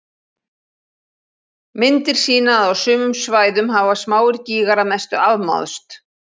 Myndir sýna að á sumum svæðum hafa smáir gígar að mestu afmáðst.